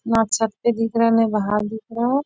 ना छत पे दिख रहा है ना बाहर दिख रहा है।